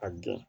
A gɛn